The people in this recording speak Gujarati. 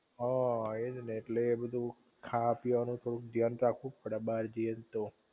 હા એ જ ને ઍટલે એ બધુ ખાવા પીવાનું થોડુંક ધ્યાન રાખવું જ પડે બાર જઈ એ તો